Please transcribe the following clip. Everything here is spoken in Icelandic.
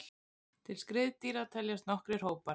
Til skriðdýra teljast nokkrir hópar.